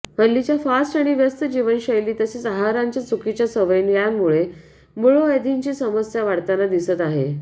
हल्लीच्या फास्ट आणि व्यस्त जीवनशैली तसेच आहाराच्या चुकीच्या सवयी यांमुळे मूळव्याधीची समस्या वाढताना दिसत आहे